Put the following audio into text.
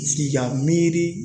Sigi ka miiri